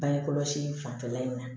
Bange kɔlɔsi fanfɛla in na